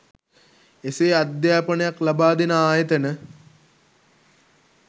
එසේ අධ්‍යාපනයක් ලබා දෙන ආයතන